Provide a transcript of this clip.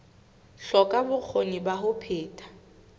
hloka bokgoni ba ho phetha